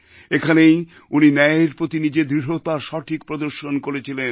এখানেই উনি ন্যায়ের প্রতি নিজের দৃঢ়তার সঠিক প্রদর্শন করেছিলেন